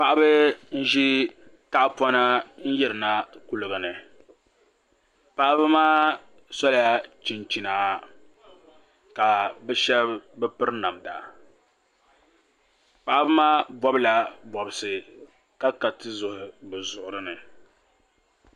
Paɣaba n ʒi tahapona yirina kuligi ni paɣaba maa sola chinchina ka bi shab bi piri namda paɣaba maa bobla bobsi ka ka tizuɣuri bi zuɣuri ni